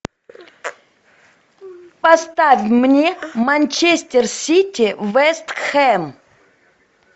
поставь мне манчестер сити вест хэм